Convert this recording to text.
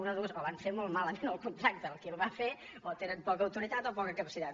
una de dues o van fer molt malament el contracte el qui el va fer o tenen poca autoritat o poca capacitat